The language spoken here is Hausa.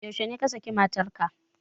Yaushe ne ka saki matar ka?